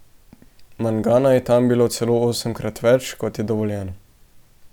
Mangana je tam bilo celo osemkrat več, kot je dovoljeno.